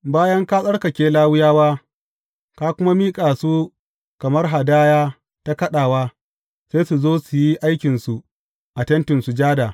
Bayan ka tsarkake Lawiyawa, ka kuma miƙa su kamar hadaya ta kaɗawa, sai su zo su yi aikinsu a Tentin Sujada.